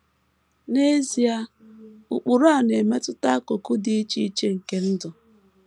N’ezie, ụkpụrụ a na - emetụta akụkụ dị iche iche nke ndụ.